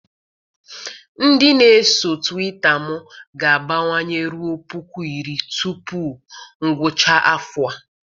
Ndị na-eso Twita m ga-abawanye ruo puku iri tupu ngwụcha afọ a.